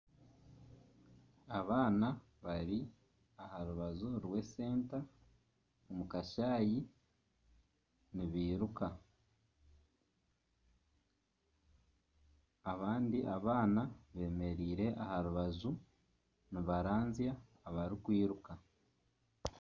Abaana bari aharubaju rw'esenta omukashayi nibiruka. Abandi abaana bemereire aharubaju nibaranzya abarikwiruka.